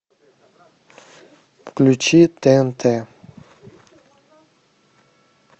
включи тнт